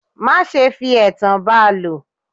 Má ṣe fi ẹ̀tàn ba lò.